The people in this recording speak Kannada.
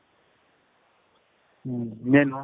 ಮ್ ಇನ್ನೇನು ?